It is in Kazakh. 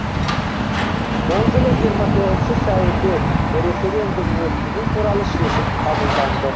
сол жылы жиырма тоғызыншы сәуірде референдум өткізу туралы шешім қабылданды